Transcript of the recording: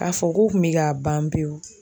K'a fɔ k'u kun bɛ ka ban pewu